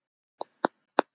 spurði síra Sigurður ískalt.